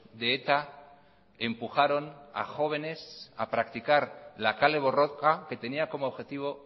de eta empujaron a jóvenes a practicar la kale borroka que tenía como objetivo